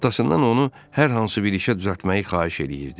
Atasından onu hər hansı bir işə düzəltməyi xahiş eləyirdi.